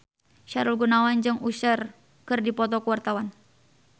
Sahrul Gunawan jeung Usher keur dipoto ku wartawan